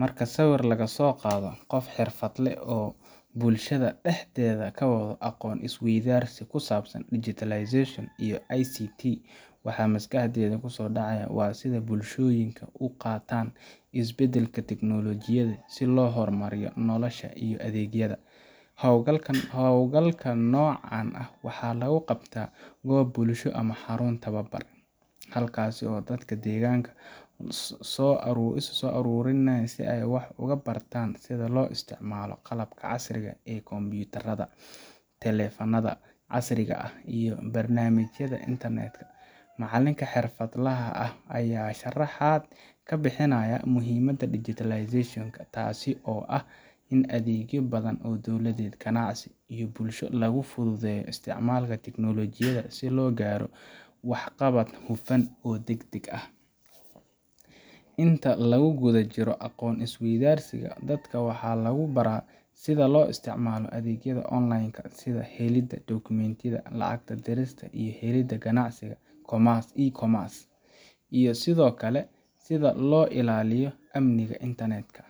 Marka sawir laga soo qaado qof xirfadle ah oo bulshada dhexdeeda ka wado aqoon isweydaarsi ku saabsan digitalization iyo ICT , waxaa maskaxda ku soo dhacaya sida ay bulshooyinka u qaataan isbeddelada tiknoolajiyadda si loo horumariyo nolosha iyo adeegyada. Hawlgalka noocan ah waxaa lagu qabtaa goob bulsho ama xarun tababar, halkaasoo dadka deegaanka isu soo uruuriyaa si ay wax uga bartaan sida loo isticmaalo qalabka casriga ah sida kumbuyuutarrada, taleefannada casriga ah, iyo barnaamijyada internet ka. Macalinka xirfadlaha ah ayaa sharaxaad ka bixinaya muhiimadda digitalization ka taas oo ah in adeegyo badan oo dowladeed, ganacsi, iyo bulsho lagu fududeeyo isticmaalka tiknoolajiyadda si loo gaaro waxqabad hufan oo degdeg ah. Inta lagu guda jiro aqoon isweydaarsiga, dadka waxaa lagu baraa sida loo isticmaalo adeegyada online-ka sida helidda dukumentiyada, lacag dirista iyo helidda, ganacsiga e-commerce, iyo sidoo kale sida loo ilaaliyo amniga internet ka.